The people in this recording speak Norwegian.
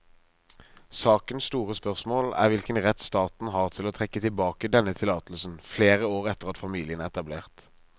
Sakens store spørsmål er hvilken rett staten har til å trekke tilbake denne tillatelsen flere år etter at familien er etablert.